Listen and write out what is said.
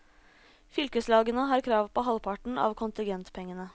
Fylkeslagene har krav på halvparten av kontingentpengene.